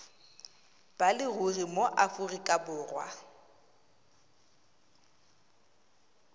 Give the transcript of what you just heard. ba leruri mo aforika borwa